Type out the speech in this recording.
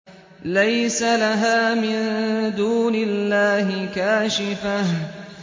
لَيْسَ لَهَا مِن دُونِ اللَّهِ كَاشِفَةٌ